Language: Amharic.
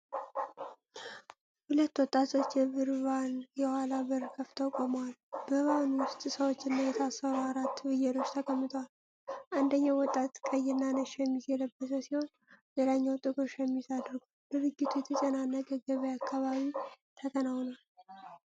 ሁለት ወጣቶች የብር ቫን የኋላ በር ከፍተው ቆመዋል። በቫኑ ውስጥ ሰዎችና የታሰሩ አራት ፍየሎች ተቀምጠዋል። አንደኛው ወጣት ቀይና ነጭ ሸሚዝ የለበሰ ሲሆን፣ ሌላው ጥቁር ሸሚዝ አድርጓል። ድርጊቱ የተጨናነቀ ገበያ አካባቢ ተከናውኗል።